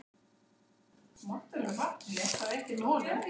Hvar er Thomas Lang?